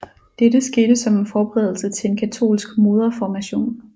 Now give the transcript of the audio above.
Dette skete som en forberedelse til en katolsk modreformation